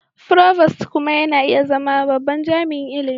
Provost kuma na iya zama babban jami'in ilimi.